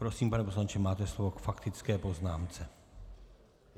Prosím, pane poslanče, máte slovo k faktické poznámce.